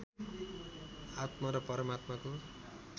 आत्मा र परमात्माको